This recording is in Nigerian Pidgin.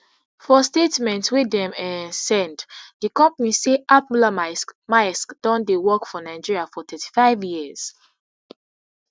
for statement wey dem um send di company say ap mollermaersk maersk don dey work for nigeria for thirty-five years